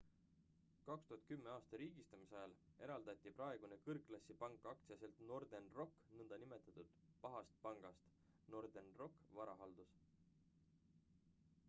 2010. aasta riigistamise ajal eraldati praegune kõrgklassi pank aktsiaselts northern rock nn pahast pangast northern rock varahaldus